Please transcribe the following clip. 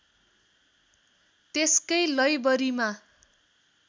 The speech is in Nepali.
त्यसकै लैबरीमा